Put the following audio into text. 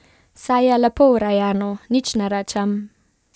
Saj je lepo urejeno, nič ne rečem ...